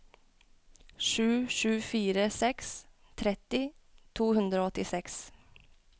sju sju fire seks tretti to hundre og åttiseks